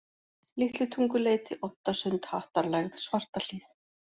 Litlutunguleiti, Oddasund, Hattarlægð, Svartahlíð